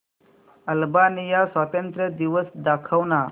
Albania स्वातंत्र्य दिवस दाखव ना